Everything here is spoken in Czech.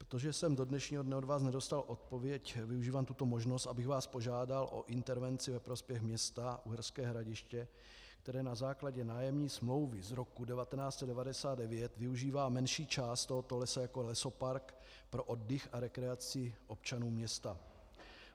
Protože jsem do dnešního dne od vás nedostal odpověď, využívám tuto možnost, abych vás požádal o intervenci ve prospěch města Uherské Hradiště, které na základě nájemní smlouvy z roku 1999 využívá menší část tohoto lesa jako lesopark pro oddych a rekreaci občanů města.